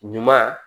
Ɲuman